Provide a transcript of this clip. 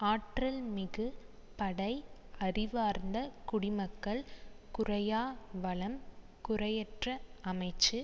ஆற்றல் மிகு படை அறிவார்ந்த குடிமக்கள் குறையா வளம் குறையற்ற அமைச்சு